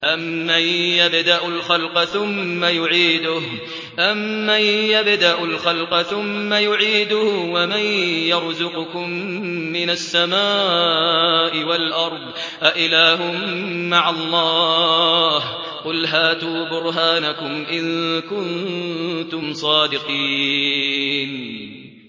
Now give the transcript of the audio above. أَمَّن يَبْدَأُ الْخَلْقَ ثُمَّ يُعِيدُهُ وَمَن يَرْزُقُكُم مِّنَ السَّمَاءِ وَالْأَرْضِ ۗ أَإِلَٰهٌ مَّعَ اللَّهِ ۚ قُلْ هَاتُوا بُرْهَانَكُمْ إِن كُنتُمْ صَادِقِينَ